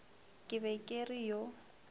ke be ke re yo